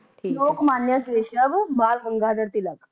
Lokmanya Keshav Bal Gangadhar Tilak